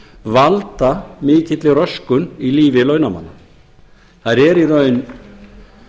valda mikilli röskun í lífi launamanna þær eru í raun